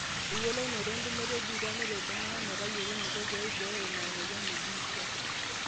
eyiolounoto entumoto ebiitia neret iltung'anak metayiolo eneiko pee eibooyo ina mweyian e biitia